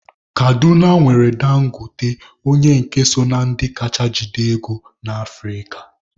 Kaduna nwere Dangote onye nke so na ndị ka jide ego na Afrịka.